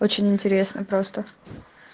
очень интересно просто